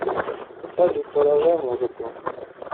салют продолжай музыку